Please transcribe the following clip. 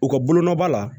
U ka bolonɔba la